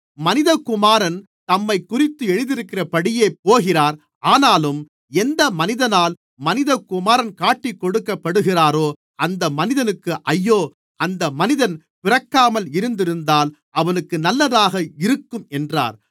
மனிதகுமாரன் தம்மைக்குறித்து எழுதியிருக்கிறபடியே போகிறார் ஆனாலும் எந்த மனிதனால் மனிதகுமாரன் காட்டிக்கொடுக்கப்படுகிறாரோ அந்த மனிதனுக்கு ஐயோ அந்த மனிதன் பிறக்காமல் இருந்திருந்தால் அவனுக்கு நல்லதாக இருக்கும் என்றார்